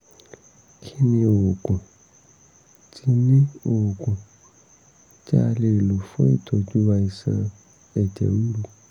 kí ni oògùn tí ni oògùn tí a lè lò fún ìtọ́jú àìsàn ẹ̀jẹ̀ ríru?